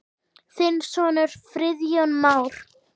Þinn sonur, Friðjón Már.